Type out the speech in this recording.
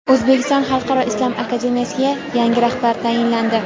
O‘zbekiston xalqaro islom akademiyasiga yangi rahbar tayinlandi.